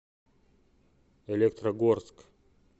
электрогорск